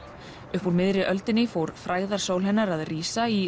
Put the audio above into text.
upp úr miðri öldinni fór frægðarsól hennar að rísa í